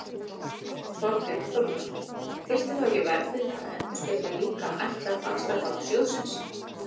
Þorbjörn Þórðarson: Þyrfti þá ekki verðið að endurspegla líka ætlað vaxtatap sjóðsins?